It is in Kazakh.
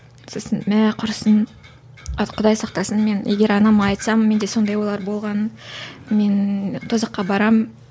сосын мә құрысын құдай сақтасын мен егер анама айтсам менде сондайлар болғанын мен тозаққа барамын